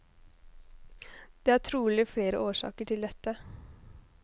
Det er trolig flere årsaker til dette.